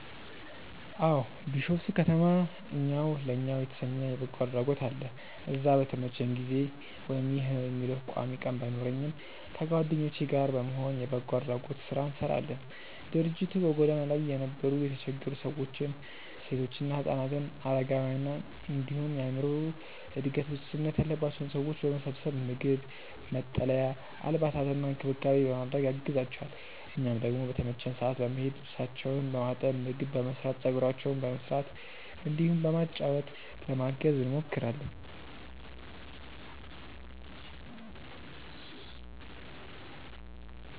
አዎ። ቢሾፍቱ ከተማ እኛው ለእኛው የተሰኘ የበጎ አድራጎት አለ። እዛ በተመቸኝ ጊዜ (ይህ ነው የምለው ቋሚ ቀን ባይኖረኝም) ከጓደኞቼ ጋር በመሆን የበጎ አድራጎት ስራ እንሰራለን። ድርጅቱ በጎዳና ላይ የነበሩ የተቸገሩ ሰዎችን፣ ሴቶችና ህፃናትን፣ አረጋውያንን እንዲሁም የአዕምሮ እድገት ውስንነት ያለባቸውን ሰዎች በመሰብሰብ ምግብ፣ መጠለያ፣ አልባሳትና እንክብካቤ በማድረግ ያግዛቸዋል። እኛም ደግሞ በተመቸን ሰዓት በመሄድ ልብሳቸውን በማጠብ፣ ምግብ በመስራት፣ ፀጉራቸውን በመስራት እንዲሁም በማጫወት ለማገዝ እንሞክራለን።